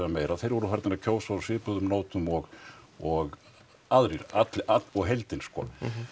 meira þeir voru farnir að kjósa á svipuðum nótum og og aðrir og heildin sko